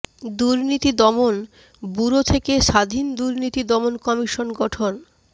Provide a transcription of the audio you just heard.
দুর্নীতি দমন ব্যুরো থেকে স্বাধীন দুর্নীতি দমন কমিশন গঠন